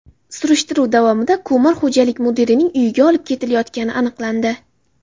Surishtiruv davomida ko‘mir xo‘jalik mudirining uyiga olib ketilayotgani aniqlandi.